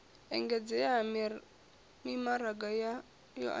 engedzea ha mimaraga yo andesaho